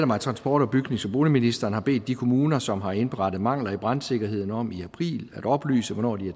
mig at transport bygnings og boligministeren har bedt de kommuner som har indberettet mangler i brandsikkerheden om i april at oplyse hvornår de